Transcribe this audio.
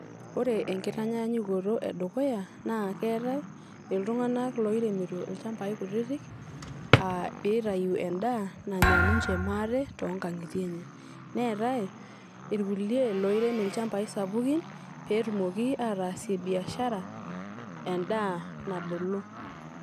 ore enkitanyaanyukoto edukuya naa keetae iltunganak loiremito ilchambai kutitik aa pitayu endaa ninche maate toonkangitie enye . neetae irkulie loirem ilchambai sapukin petumoki ataasie biashara endaa nabulu.